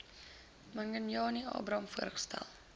manganyi abraham voorgestel